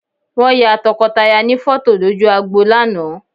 Wọ́n ya tọkọtaya ní fọ́tò lójú agbo lánàá